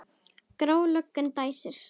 Gráa löggan dæsir.